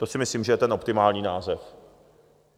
To si myslím, že je ten optimální název.